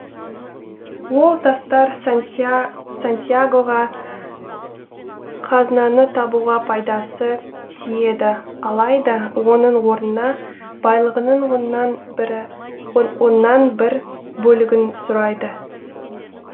ол тастар сантьягоға қазынаны табуға пайдасы тиеді алайда оның орнына байлығының оннан бір бөлігін сұрайды